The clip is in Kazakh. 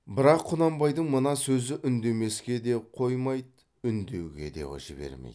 бірақ құнанбайдың мына сөзі үндемеске де қоймайды үндеуге де жібермейді